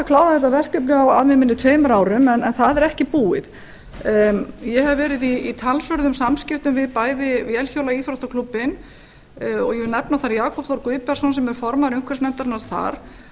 að klára þetta verkefni á að mig minnir tveimur árum en það er ekki búið ég hef verið í talsverðum samskiptum við bæði vélhjóla og íþróttaklúbbinn og ég vil nefna þar jakob þór guðbergsson sem er formaður umhverfisnefndarinnar þar